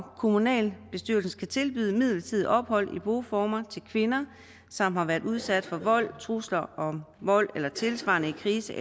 kommunalbestyrelsen skal tilbyde midlertidigt ophold i boformer til kvinder som har været udsat for vold trusler om vold eller tilsvarende krise